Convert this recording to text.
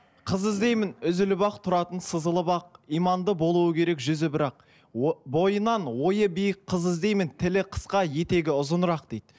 қыз іздеймін үзіліп ақ тұратын сызылып ақ иманды болуы керек жүзі бірақ бойынан ойы биік қыз іздеймін тілі қысқа етегі ұзынырақ дейді